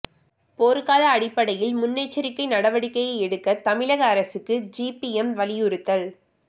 போர்க்கால அடிப்படையில் முன்னெச்சரிக்கை நடவடிக்கை எடுக்க தமிழக அரசுக்கு சிபிஎம் வலியுறுத்தல்